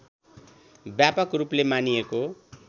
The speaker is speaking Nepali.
व्यापक रूपले मानिएको